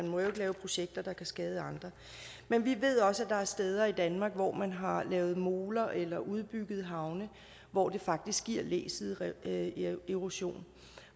må lave projekter der kan skade andre men vi ved også at der er steder i danmark hvor man har lavet moler eller udbygget havne hvor det faktisk giver læsideerosion